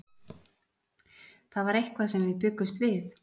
Það var eitthvað sem við bjuggumst við.